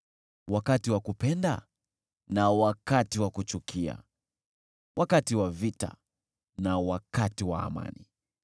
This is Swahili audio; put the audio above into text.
wakati wa kupenda na wakati wa kuchukia, wakati wa vita na wakati wa amani.